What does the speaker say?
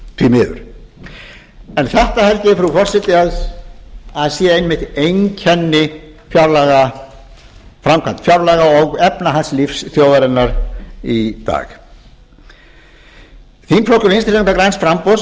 því miður þetta held ég frú forseti að sé einmitt einkenni framkvæmdar fjárlaga og efnahagslífs þjóðarinnar í dag þingflokkur vinstri hreyfingarinnar græns framboðs